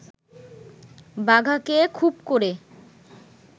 বাঘাকে খুব ক’রে